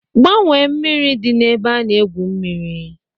Gbanwee mmiri dị n'ebe a na-egwu mmiri!